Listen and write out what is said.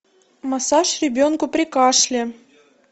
массаж ребенку при кашле